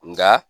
Nga